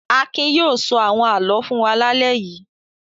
Akin yóò sọ àwọn àlọ́ fún wa lálẹ́ yìí.